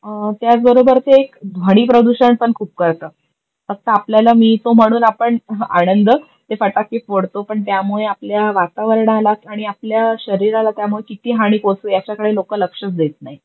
त्याच बरोबर ते ध्वनी प्रदूषण पण खूप करतात फक्त आपल्याला मिळतो म्हणून आपण आनंद ते फटाके फोडतो पण त्यामुळे आपल्या वातावरणाला आणि आपल्या शरीराला त्यामुळे किती हानी पोहचते याच्याकडे लोक लक्षच देत नाही.